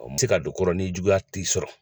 Mɔgɔ tɛ se ka don kɔ rɔ ni juguya m'i sɔrɔ.